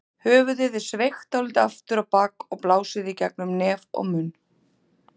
Höfuðið er sveigt dálítið aftur á bak og blásið í gegnum nef og munn.